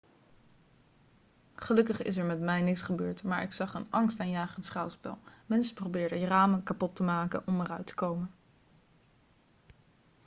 gelukkig is er met mij niks gebeurd maar ik zag een angstaanjagend schouwspel mensen probeerden ramen kapot te maken om eruit te komen